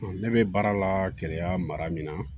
Ne bɛ baara la gɛlɛya mara min na